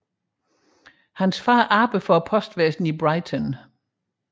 Hans far arbejdede for postvæsnet i Brighton